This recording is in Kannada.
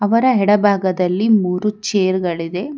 ಅವರ ಎಡ ಭಾಗದಲ್ಲಿ ಮೂರು ಚೇರ್ ಗಳಿದೆ.